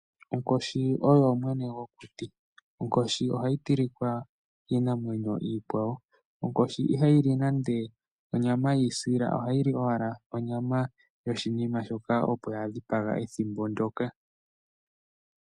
Onkoshi oyo mwene gwokuti nohayi tilika kiinamwenyo iikwawo. Iha yili onyama yiisila, ohayi li ashike ndjoka ya dhipaga ethimbo ndyoka.